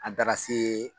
An taara se